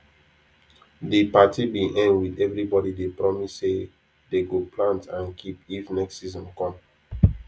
de party bin end with everybody dey promise say dey go plant and keep if next season come